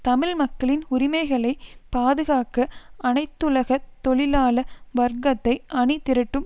தமிழ் மக்களின் உரிமைகளை பாதுகாக்க அனைத்துலக தொழிலாள வர்க்கத்தை அணிதிரட்டும்